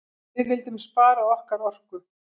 Við vildum spara okkar orku.